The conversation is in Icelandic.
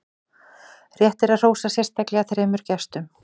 rétt er að hrósa sérstaklega þremur gestum